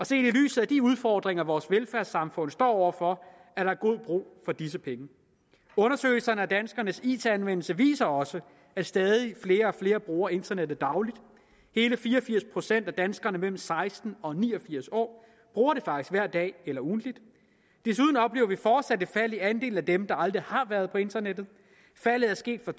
set i lyset af de udfordringer vores velfærdssamfund står over for er der god brug for disse penge undersøgelserne af danskernes it anvendelse viser også at stadig flere og flere bruger internettet dagligt hele fire og firs procent af danskere mellem seksten år og ni og firs år bruger det faktisk hver dag eller ugentligt desuden oplever vi fortsat et fald i andelen af dem der aldrig har været på internettet faldet er sket fra